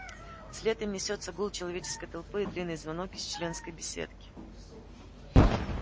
вслед им несётся гул человеческой толпы и длинный звонок из членской беседки